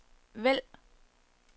vælg